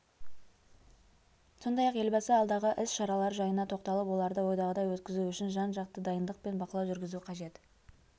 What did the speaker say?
сондай-ақ елбасы алдағы іс-шаралар жайына тоқталып оларды ойдағыдай өткізу үшін жан-жақты дайындық пен бақылау жүргізу қажет